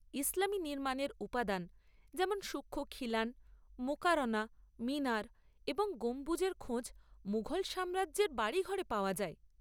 ইসলামী নির্মাণের উপাদান, যেমন সূক্ষ্ম খিলান, মুকারনা, মিনার এবং গম্বুজের খোঁজ মুঘল সাম্রাজ্যের বাড়িঘরে পাওয়া যায়।